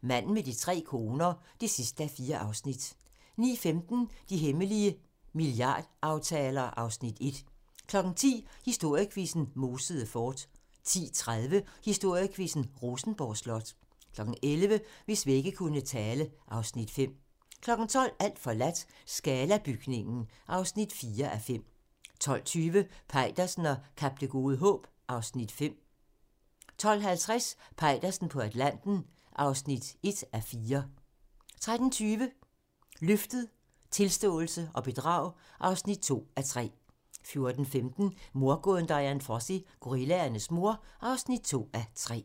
Manden med de tre koner (4:4)* 09:15: De hemmelige milliardaftaler (Afs. 1) 10:00: Historiequizzen: Mosede Fort 10:30: Historiequizzen: Rosenborg Slot 11:00: Hvis vægge kunne tale (Afs. 5) 12:00: Alt forladt - Scala-bygningen (4:5) 12:20: Peitersen og Kap Det Gode Håb (Afs. 5) 12:50: Peitersen på Atlanten (1:4) 13:20: Løftet - Tilståelse og bedrag (2:3) 14:15: Mordgåden Dian Fossey - Gorillaernes mor (2:3)